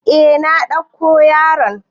Eh na ɗauko yaron.